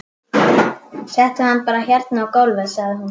Settu hann bara hérna á gólfið, sagði hún svo.